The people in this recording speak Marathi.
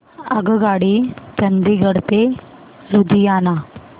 आगगाडी चंदिगड ते लुधियाना